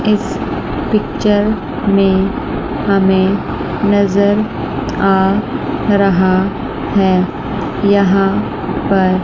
इस पिक्चर में हमें नज़र आ रहा है यहां पर --